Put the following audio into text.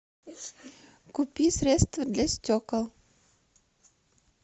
купи средство для стекол